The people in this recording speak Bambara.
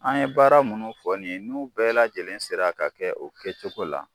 An ye baara munnu fɔ nin ye n'u bɛɛ lajɛlen sera ka kɛ o kɛcogo la.